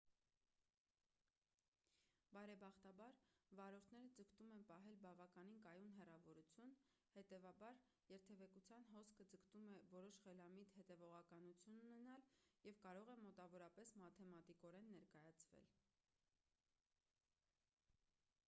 բարեբախտաբար վարորդները ձգտում են պահել բավականին կայուն հեռավորություն հետևաբար երթևեկության հոսքը ձգտում է որոշ խելամիտ հետևողականություն ունենալ և կարող է մոտավորապես մաթեմատիկորեն ներկայացվել